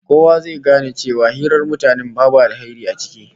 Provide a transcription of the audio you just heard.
Kowa zai gane cewa hirar mutanen babu alheri ciki